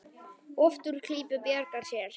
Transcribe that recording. Oft úr klípu bjargar sér.